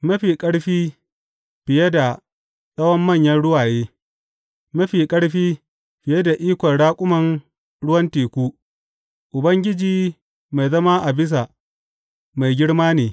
Mafi ƙarfi fiye da tsawan manyan ruwaye, mafi ƙarfi fiye da ikon raƙuman ruwan teku, Ubangiji mai zama a bisa mai girma ne.